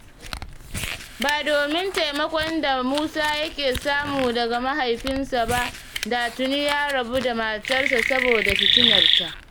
Ba domin taimakon da Musa ya ke samu daga mahaifinsa ba da tuni ya rabu da matarsa saboda fitinarta.